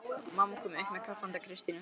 Mamma kom upp með kaffi handa Kristínu.